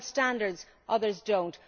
some have standards, others do not.